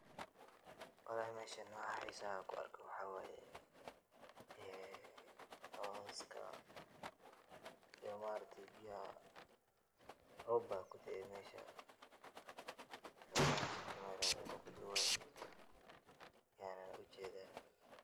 Meshan waxaa xiisaha kuarko waxa waye ee coska iyo maaragte biyaha rob baa kudee mesha iyo bahasha kameradha lagudubayo yaan ujedhaa.